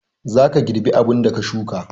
zaka girbi abunda ka shuka